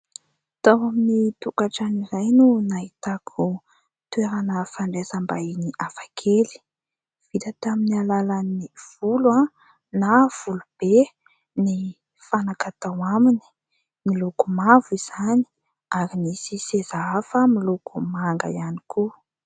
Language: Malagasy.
Tao amin'ny tokantrano iray no nahitako toerana fandraisam-bahiny hafakely. Vita tamin'ny alalan'ny volo na volobe ny fanaka tao aminy. Miloko mavo izany ary misy seza hafa miloko manga ihany koa.